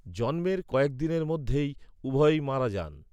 জন্মের কয়েকদিনের মধ্যেই উভয়ে মারা যান।